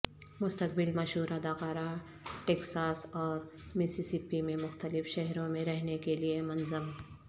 مستقبل مشہور اداکارہ ٹیکساس اور مسیسپی میں مختلف شہروں میں رہنے کے لئے منظم